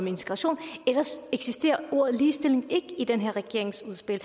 integration ellers eksisterer ordet ligestilling ikke i den her regerings udspil